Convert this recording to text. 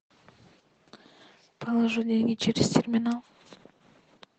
положи деньги через терминал